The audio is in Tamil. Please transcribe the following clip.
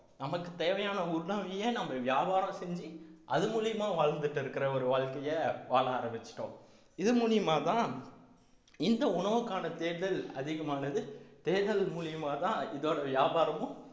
நமக்கு தேவையான உணவையே நம்ம வியாபாரம் செஞ்சு அது மூலியமா வாழ்ந்துட்டு இருக்கற ஒரு வாழ்க்கையை வாழ ஆரம்பிச்சுட்டோம் இது மூலியமாதான் இந்த உணவுக்கான தேடுதல் அதிகமானது தேடுதல் மூலியமா தான் இதோட வியாபாரமும்